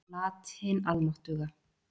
Lat hin almáttuga.